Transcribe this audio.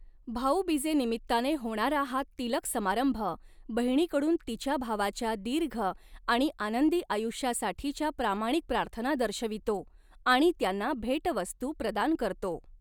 भाऊबिजेनिमित्ताने होणारा हा तिलक समारंभ बहिणीकडून तिच्या भावाच्या दीर्घ आणि आनंदी आयु्ष्यासाठीच्या प्रामाणिक प्रार्थना दर्शवितो आणि त्यांना भेटवस्तू प्रदान करतो.